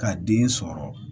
Ka den sɔrɔ